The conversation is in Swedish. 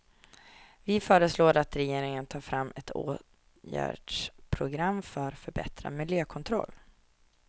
Vi föreslår att regeringen tar fram ett åtgärdsprogram för förbättrad miljökontroll.